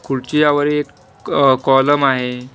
खुडच्यावर एक कॉलम आहे.